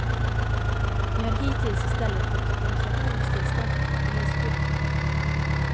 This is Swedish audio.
De har hittills i stället fått demonstrationstillstånd och polisskydd.